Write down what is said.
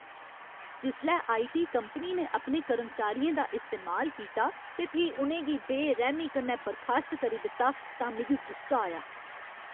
जिसलै I. T. Company ने अपने कर्मचारियें दा इस्तेमाल कीता ते फ्ही उ'नें गी बेरैह्‌मी कन्नै बर्खास्त करी दित्ता तां मिगी गुस्सा आया।